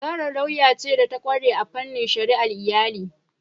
Zara lauya ce da ta kware a fannin shari'ar iyali.